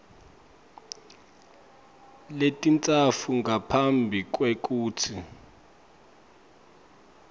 letintsatfu ngaphambi kwekutsi